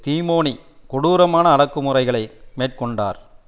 திமோனி கொடூரமான அடக்கு முறைகளை மேற்கொண்டார்